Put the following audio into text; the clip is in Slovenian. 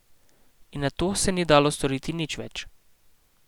In nato se ni dalo storiti nič več.